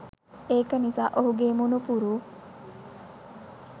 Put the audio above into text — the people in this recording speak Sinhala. ඒක නිසා ඔහුගේ මුණුපුරු